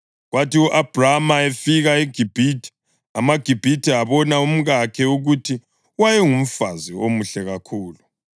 Kwathi u-Abhrama efika eGibhithe, amaGibhithe abona umkakhe ukuthi wayengumfazi omuhle kakhulu.